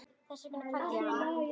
Þess vegna kvaddi hann.